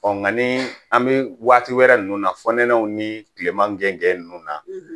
Ɔ nka ni an bɛ waati wɛrɛ ninnu na fɔ nɛnɛw ni tilema gɛngɛn ninnu na